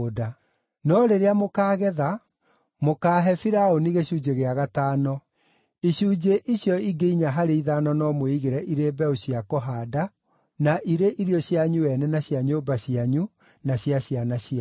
No rĩrĩa mũkaagetha, mũkaahe Firaũni gĩcunjĩ gĩa gatano. Icunjĩ icio ingĩ inya harĩ ithano no mwĩigĩre irĩ mbeũ cia kũhaanda na irio cianyu ene na cia nyũmba cianyu, na cia ciana cianyu.”